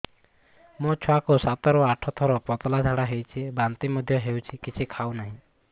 ମୋ ଛୁଆ କୁ ସାତ ରୁ ଆଠ ଥର ପତଳା ଝାଡା ହେଉଛି ବାନ୍ତି ମଧ୍ୟ୍ୟ ହେଉଛି କିଛି ଖାଉ ନାହିଁ